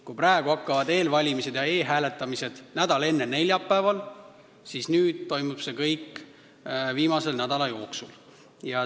Kui praegu hakkavad eelvalimine ja e-hääletamine nädal varem neljapäeval, siis nüüd toimub see kõik viimase nädala jooksul.